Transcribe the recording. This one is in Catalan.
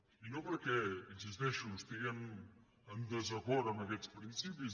i no perquè hi insisteixo estiguem en desacord amb aquests principis